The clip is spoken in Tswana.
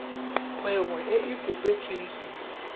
kgwebo e e kopetsweng cc